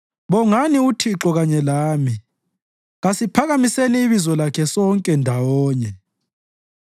Bongani uThixo kanye lami; kasiphakamiseni ibizo lakhe sonke, ndawonye.